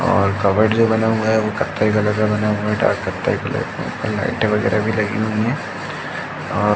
और कबर्ड् जो बना हुआ है वो कथ्थई कलर का बना हुआ है। डार्क कथ्थई कलर का लाइटें वगैरा भी लगी हुई है और--